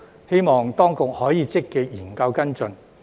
希望當局可以積極研究跟進。